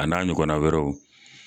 A n'a ɲɔgɔna wɛrɛw.